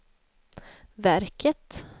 verket